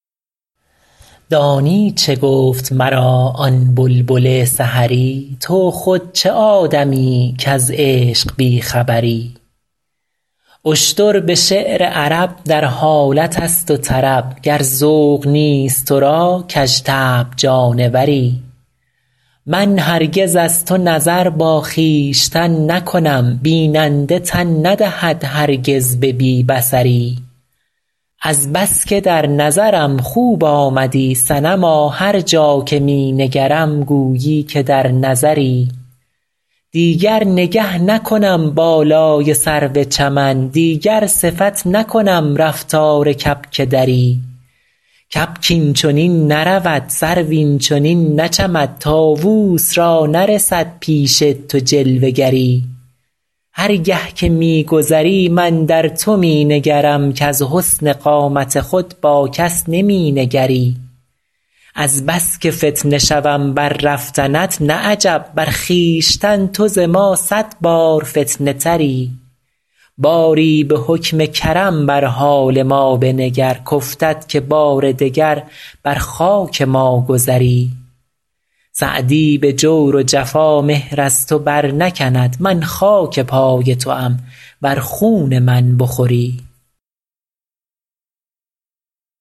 دانی چه گفت مرا آن بلبل سحری تو خود چه آدمیی کز عشق بی خبری اشتر به شعر عرب در حالت است و طرب گر ذوق نیست تو را کژطبع جانوری من هرگز از تو نظر با خویشتن نکنم بیننده تن ندهد هرگز به بی بصری از بس که در نظرم خوب آمدی صنما هر جا که می نگرم گویی که در نظری دیگر نگه نکنم بالای سرو چمن دیگر صفت نکنم رفتار کبک دری کبک این چنین نرود سرو این چنین نچمد طاووس را نرسد پیش تو جلوه گری هر گه که می گذری من در تو می نگرم کز حسن قامت خود با کس نمی نگری از بس که فتنه شوم بر رفتنت نه عجب بر خویشتن تو ز ما صد بار فتنه تری باری به حکم کرم بر حال ما بنگر کافتد که بار دگر بر خاک ما گذری سعدی به جور و جفا مهر از تو برنکند من خاک پای توام ور خون من بخوری